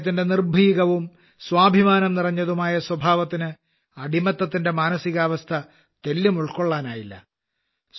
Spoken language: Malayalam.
അദ്ദേഹത്തിന്റെ നിർഭീകവും സ്വാഭിമാനം നിറഞ്ഞതുമായ സ്വഭാവത്തിന് അടിമത്തത്തിന്റെ മാനസികാവസ്ഥ ഉൾക്കൊള്ളാനായില്ല